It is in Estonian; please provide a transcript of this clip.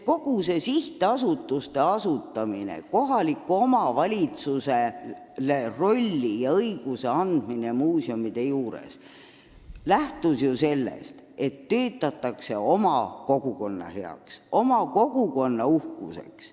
Kogu see muuseumidega seotud sihtasutuste asutamine ning kohalikele omavalitsustele rolli ja õiguste andmine lähtus ju eeldusest, et töötatakse oma kogukonna huvides, et oma muuseum on kogukonna uhkuseks.